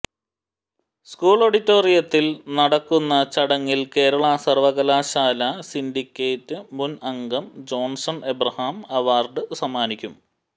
school ഓഡിറ്റോറിയത്തിൽ നടക്കുന്ന ചടങ്ങിൽ കേരള സർവകലാശാല സിൻഡിക്കേറ്റ് മുൻ അംഗം ജോൺസൺ എബ്രഹാം അവാർഡ് സമ്മാനിക്കും